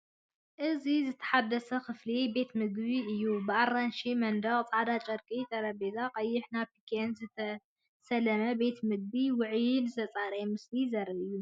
እዚ ዝተሓደሰ ክፍሊ ቤት ምግቢ እዩ። ብኣራንሺ መንደቕ፣ ጻዕዳ ጨርቂ ጠረጴዛ፣ ቀይሕ ናፕኪንን ዝተሰለመ ቤት ምግቢ፤ ውዑይን ዝተጸረየን ምስሊ ዘርኢ እዩ።